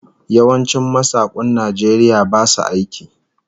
Yawancin masakun Najeriya basu aiki